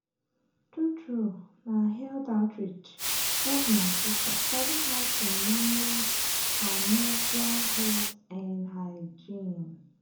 true true na health outreach help my sister sabi how to manage her menstrual health and hygiene.